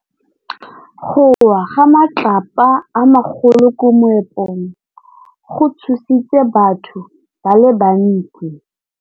Go wa ga matlapa a magolo ko moepong go tshositse batho ba le bantsi.